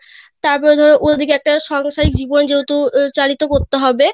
তারপরে ধরো অই পাশে একটা সাংসারিক জীবন চালিতো করতে হবে